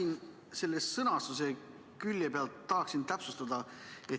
Ma tahaksin sõnastuse külje pealt täpsustada.